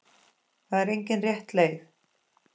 Það er engin rétt leið.